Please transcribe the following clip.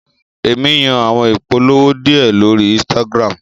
Emi yóò awọn ipolowo diẹ lori ínsìtágirámu